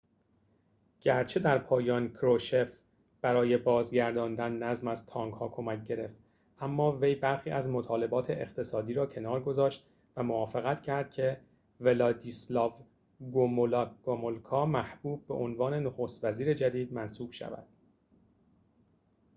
گرچه در پایان کروشچف برای بازگرداندن نظم از تانک‌ها کمک گرفت اما وی برخی از مطالبات اقتصادی را کنار گذاشت و موافقت کرد که ولادیسلاو گومولکا محبوب به عنوان نخست وزیر جدید منصوب شود